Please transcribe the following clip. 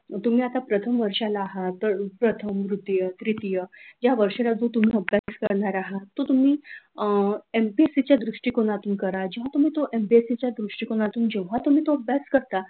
तुम्ही आता प्रथम वर्षाला आहात तर प्रथम द्वितीय तृतीय या वर्षात तुम्ही अभ्यास करणार आहात तर तुम्ही अ एमएसीसी च्या दृष्टिकोनातून करा जेव्हा तुम्ही तो एमपीएससीच्या दृष्टिकोनातून करा जेव्हा तुम्ही एमपीएससीच्या दृष्टिकोतून करता,